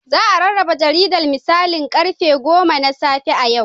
Za a rarraba jaridar da misalin karfe goma na safe a yau.